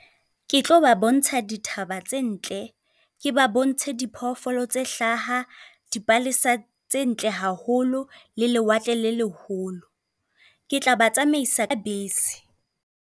Ke tlo ba bontsha dithaba tse ntle, ke ba bontshe diphoofolo tse hlaha. Dipalesa tse ntle haholo le lewatle le leholo, ke tla ba tsamaisa ka bese.